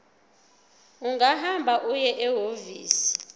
ungahamba uye ehhovisi